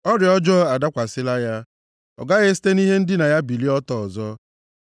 “Ọrịa ọjọọ adakwasịla ya; ọ gaghị esite na ihe ndina ya bilie ọtọ ọzọ.”